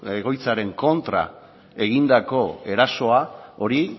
egoitzaren kontra egindako erasoa hori